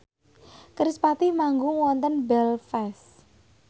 kerispatih manggung wonten Belfast